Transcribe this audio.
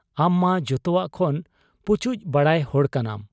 ᱟᱢᱢᱟ ᱡᱚᱛᱚᱣᱟᱜ ᱠᱷᱚᱱ ᱯᱩᱪᱩᱡ ᱵᱟᱲᱟᱭ ᱦᱚᱲ ᱠᱟᱱᱟᱢ ᱾